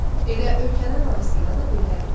Elə ölkələr arasında da belədir.